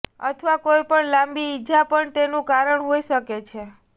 અથવા કોઈપણ લાંબી ઇજા પણ તેનું કારણ હોઈ શકે છે